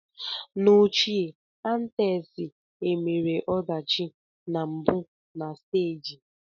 N'ochie Athens e mere ọdachi na mbụ na stagi.